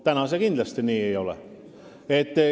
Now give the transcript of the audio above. Praegu see kindlasti nii ei ole.